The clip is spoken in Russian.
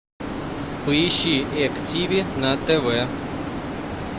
поищи эк тиви на тв